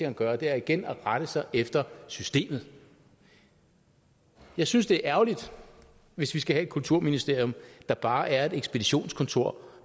at gøre og det er igen at rette sig efter systemet jeg synes det er ærgerligt hvis vi skal have et kulturministerium der bare er et ekspeditionskontor